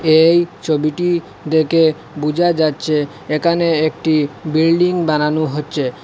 এই ছবিটি দেখে বুঝা যাচ্ছে এখানে একটি বিল্ডিং বানানো হচ্ছে।